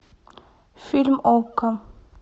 фильм окко